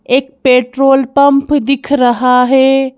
एक petrol pump दिख रहा है।